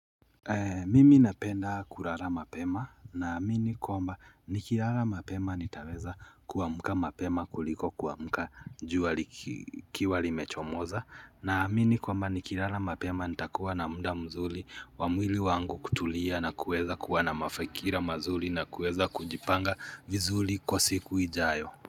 Mimi napenda kulala mapema na amini kwamba nikilala mapema nitaweza kuamka mapema kuliko kuamuka njua jua limechomoza na amini kwamba nikilala mapema nitakuwa na mda mzuli wa mwili wangu kutulia na kueza kuwa na fikra manzuri na kueza kujipanga vizuri kwa siku ijayo.